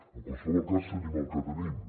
en qualsevol cas tenim el que tenim